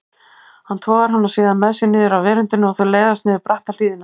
Hann togar hana síðan með sér niður af veröndinni og þau leiðast niður bratta hlíðina.